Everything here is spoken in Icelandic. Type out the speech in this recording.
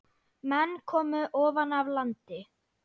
Menn komu ofan af landi.